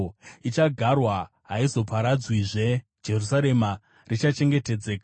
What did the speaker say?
Ichagarwa; haichazoparadzwizve. Jerusarema richachengetedzeka.